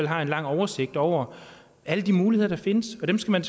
har en lang oversigt over alle de muligheder der findes og dem skal man